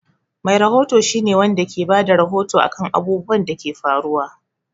Mai rahoto shi ne Wanda ke Bada rahoto akan abubwan Dake faruwa